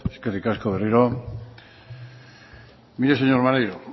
eskerrik asko berriro mire señor maneiro